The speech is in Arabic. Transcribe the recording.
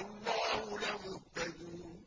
اللَّهُ لَمُهْتَدُونَ